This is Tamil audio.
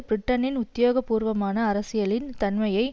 பிரிட்டனின் உத்தியோக பூர்வமான அரசியலின் தன்மையை